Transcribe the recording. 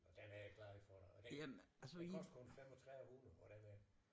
Og den havde klaret det for dig og den den kostede kun 3500 og den er